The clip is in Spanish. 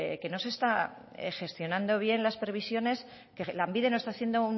que no se está gestionando bien las previsiones que lanbide no está haciendo